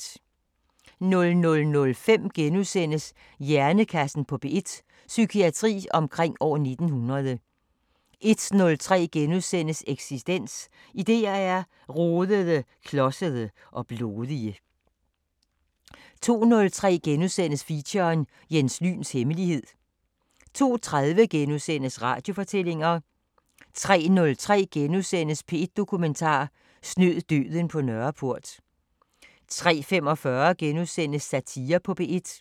00:05: Hjernekassen på P1: Psykiatri omkring år 1900 * 01:03: Eksistens: Idéer er rodede, klodsede og blodige * 02:03: Feature: Jens Lyns hemmelighed * 02:30: Radiofortællinger * 03:03: P1 Dokumentar: Snød døden på Nørreport * 03:45: Satire på P1